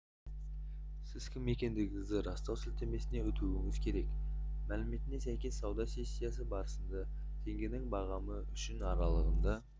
сіз кім екендігіңізді растау сілтемесіне өтуіңіз керек мәліметіне сәйкес сауда сессиясы барысында теңгенің бағамы үшін аралығында